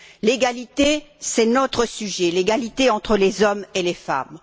L'égalité, c'est notre sujet, l'égalité entre les hommes et les femmes.